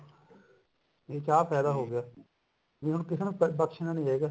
ਇਸ ਚ ਆਹ ਫਾਇਦਾ ਹੋ ਗਿਆ ਹੁਣ ਕਿਸੇ ਨੂੰ ਬਖ਼ਸ਼ਨਾ ਨੀ ਚਾਹੀਦਾ